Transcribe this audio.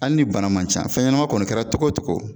Ali ni bana man ca fɛn ɲɛnama kɔni kɛra togo togo